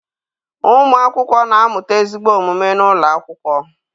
Ụmụakwụkwọ na-amụta ezigbo omume n'ụlọ akwụkwọ.